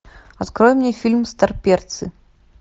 открой мне фильм старперцы